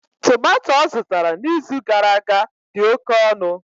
Tomato ọ zụtara n'izu gara aga dị oke ọnụ.